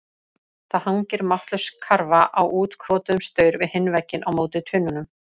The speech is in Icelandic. Það hangir máttlaus karfa á útkrotuðum staur við hinn vegginn á móti tunnunum.